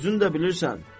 özün də bilirsən.